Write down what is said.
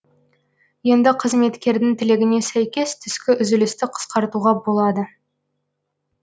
енді қызметкердің тілегіне сәйкес түскі үзілісті қысқартуға болады